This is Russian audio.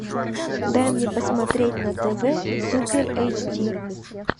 дай мне посмотреть на тв супер эйч ди